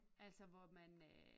Altså hvor man øh